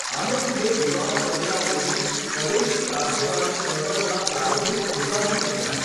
આને લીધે યુવાન કમલાદેવી સ્વદેશી રાષ્ટ્રવાદી ચળવળના પ્રારંભિક ઉત્સાહી બન્યાં.